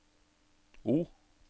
O